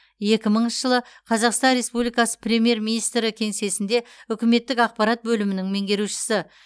екі мыңыншы жылы қазақстан республикасы премьер министрі кеңсесінде үкіметтік ақпарат бөлімінің меңгерушісі